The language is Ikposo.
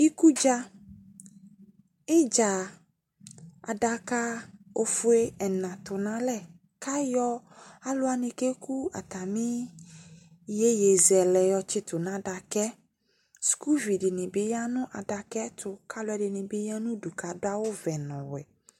Ikudza, idza, adaka ofue ɛna tʋ n'alɛ, kʋ ayɔ alʋwani keku atami iyeyezɛlɛ yɔtsitʋ nʋ adaka yɛ Sukuvi di ni bi ya nʋ adaka yɛ tʋ kʋ alʋɛdini bi ya nʋ udu kʋ adʋ awʋ ɔvɛ nʋ ɔwɛ